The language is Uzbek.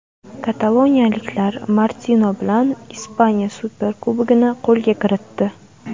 Kataloniyaliklar Martino bilan Ispaniya Superkubogini qo‘lga kiritdi.